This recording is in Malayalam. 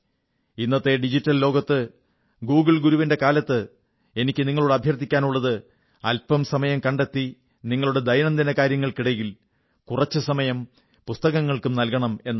ഇന്നത്തെ ഡിജിറ്റൽ ലോകത്ത് ഗൂഗുൾ ഗുരുവിന്റെ കാലത്ത് എനിക്കു നിങ്ങളോടും അഭ്യർഥിക്കാനുള്ളത് അല്പം സമയം കണ്ടെത്തി നിങ്ങളുടെ ദൈനംദിനകാര്യങ്ങൾക്കിടയിൽ അല്പം സമയം പുസ്തകങ്ങൾക്കും നൽകണമെന്നാണ്